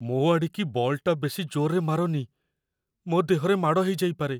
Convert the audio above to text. ମୋ ଆଡ଼ିକି ବଲ୍‌ଟାକୁ ବେଶି ଜୋର୍‌ରେ ମାରନି । ମୋ ଦେହରେ ମାଡ଼ ହେଇଯାଇପାରେ ।